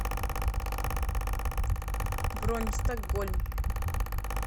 бронь стокгольм